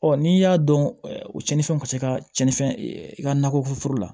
Ɔ n'i y'a dɔn o cɛnin ka se ka cɛnni fɛn i ka nakɔforo foro la